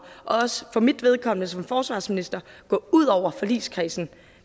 og også for mit vedkommende som forsvarsminister at gå ud over forligskredsen